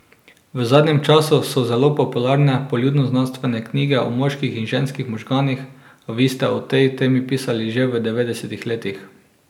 V zadnjem času so zelo popularne poljudnoznanstvene knjige o moških in ženskih možganih, a vi ste o tej temi pisali že v devetdesetih letih.